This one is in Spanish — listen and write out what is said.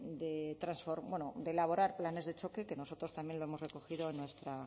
de elaborar planes de choque que nosotros también lo hemos recogido